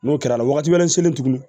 N'o kɛra wagati wɛrɛ selen tuguni